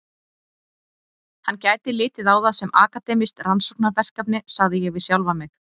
Hann gæti litið á það sem akademískt rannsóknarverkefni, sagði ég við sjálfan mig.